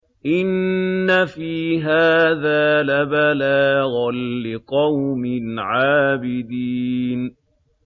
إِنَّ فِي هَٰذَا لَبَلَاغًا لِّقَوْمٍ عَابِدِينَ